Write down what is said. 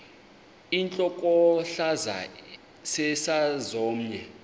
intlokohlaza sesisaz omny